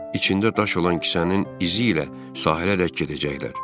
İçində daş olan kisənin izi ilə sahələrdək gedəcəklər.